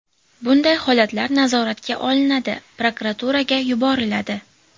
Bunday holatlar nazoratga olinadi, prokuraturaga yuboriladi.